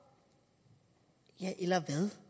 hvad